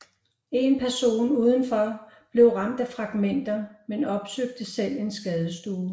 En person udenfor blev ramt af fragmenter men opsøgte selv en skadestue